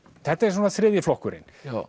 þetta er svona þriðji flokkurinn